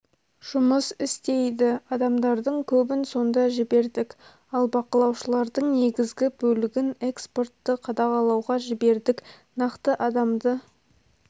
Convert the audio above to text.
жұмыс істейді адамдардың көбін сонда жібердік ал бақылаушылардың негізгі бөлігін экспортты қадағалауға жібердік нақты адамды